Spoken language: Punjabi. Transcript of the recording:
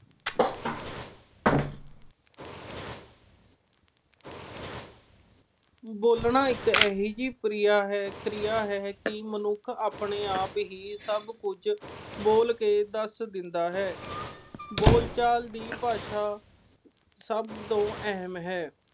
ਬੋਲਣਾ ਇੱਕ ਅਜਿਹੀ ਕਿਰਿਆ ਹੈ ਕਿ ਮਨੁੱਖ ਆਪਣੇ-ਆਪ ਹੀ ਸਭ ਕੁਝ ਬੋਲ ਕੇ ਦੱਸ ਦਿੰਦਾ ਹੈ। ਬੋਲਚਾਲ ਦੀ ਭਾਸ਼ਾ ਸਭ ਤੋਂ ਅਹਿਮ ਹੈ।